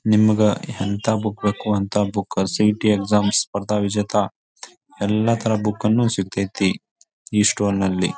ನಿಮಗ ಎಂಥ ಬುಕ್ ಬೇಕು ಅಂತ ಬುಕ್ ಸಿ.ಇಟಿ. ಎಕ್ಸಾಮ್ ಸ್ಪರ್ಧಾ ವಿಜೇತ ಎಲ್ಲಾ ತರದ ಬುಕ್ ಗಳು ಸಿಗತೈತಿ ಈ ಸ್ಟೋರಿನಲ್ಲಿ .